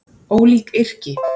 Ólík yrki